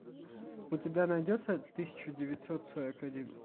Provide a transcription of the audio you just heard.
у тебя найдется тысяча девятьсот сорок один